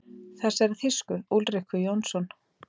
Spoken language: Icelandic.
Þessari þýsku: Úlriku Jónsson.